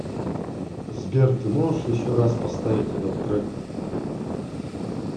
сбер ты можешь еще раз поставить этот трек